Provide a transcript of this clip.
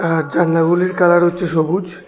আর জানলাগুলির কালার হচ্ছে সবুজ।